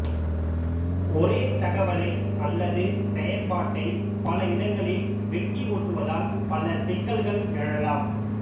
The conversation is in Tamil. ஒரே தகவலை அல்லது செயற்பாட்டை பல இடங்களில் வெட்டி ஒட்டுவதால் பல சிக்கல்கள் எழலாம்